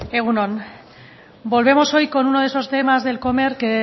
egun on volvemos hoy con uno de esos temas de comer que